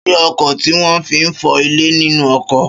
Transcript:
Ṣé ọkọ́ tí wọ́n fi ń fọ́ ilẹ̀ nínú oko?